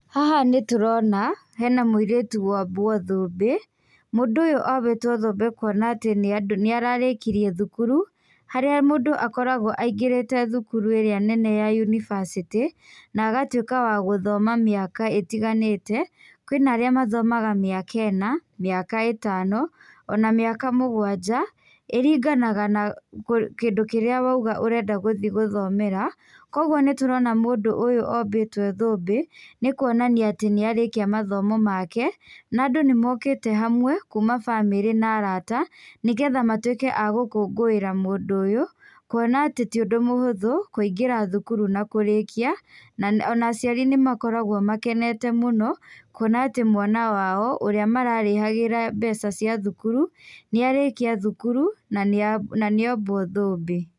Haha nĩtũrona hena mũirĩtu wombwo thũmbĩ. Mũndũ ũyũ ombĩtwo thũmbĩ kuona atĩ nĩararĩkirie thukuru harĩa mũndũ akoragwo aingĩrĩte thukuru ĩrĩa nene ya yunibasĩtĩ na agatwĩka wa gũthoma mĩaka ĩtiganĩte. Kwĩna arĩa mathomaga mĩaka ĩna, mĩaka ĩtano ona mĩaka mũgwanja ĩringanaga na kũ kĩndũ kĩrĩa wauga ũrenda gũthii gũthomera koguo nĩtũrona mũndũ ũyũ ombĩtwo thũmbĩ, nĩkuonania atĩ nĩarĩkia mathomo make na andũ nĩmokĩte hamwe kuma bamĩrĩ na arata nĩgetha matwĩke a gũkũngũĩra mũndũ ũyũ kuona atĩ ti ũndũ mũhũthũ kũingĩra thukuru na kũrĩkia na ona aciari nĩmakoragwo makenete mũno kuona atĩ mwana wao ũrĩa mararĩhagĩra mbeca cia thukuru nĩarĩkia thukuru na nĩa, na nĩombwo thũmbĩ.